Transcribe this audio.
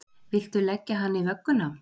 Viltu leggja hann í vögguna!